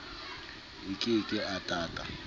a ke ke a tata